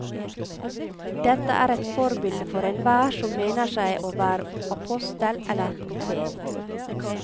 Dette er et forbilde for enhver som mener seg å være apostel eller profet.